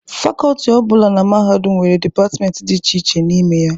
Fakọltị ọ bụla na mahadum nwere dịpartmenti dị iche iche n'ime ya.